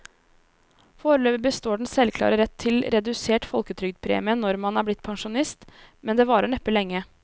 Foreløpig består den selvklare rett til redusert folketrygdpremie når man er blitt pensjonist, men det varer neppe lenge.